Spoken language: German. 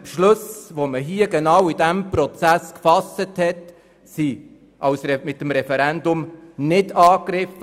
Die in diesem Prozess gefassten Beschlüsse wurden nicht mit dem Referendum angegriffen.